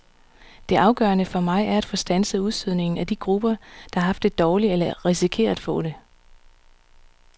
Det afgørende for mig er at få standset udstødningen af de grupper, der har haft det dårligt eller risikerer at få det.